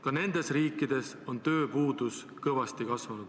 Ka nendes riikides on tööpuudus kõvasti kasvanud.